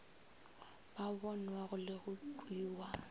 ba bonwago le go kwewa